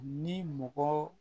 Ni mɔgɔw